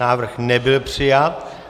Návrh nebyl přijat.